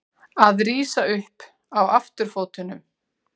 Að rísa upp á afturfótunum